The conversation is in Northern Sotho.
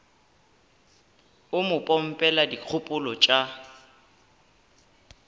o mo pompela dikgopolo tša